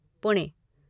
Pune